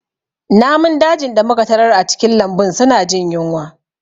Namun dajin da muka tarar a cikin lambun suna jin yunwa